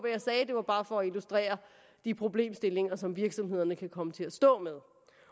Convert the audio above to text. jeg sagde det var bare for at illustrere de problemstillinger som virksomhederne kan komme til at stå med